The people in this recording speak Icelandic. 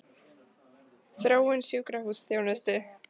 Þróun sjúkrahúsþjónustu?